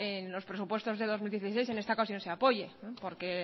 en los presupuestos de dos mil dieciséis en esta ocasión se apoye porque